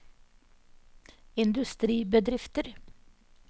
industribedrifter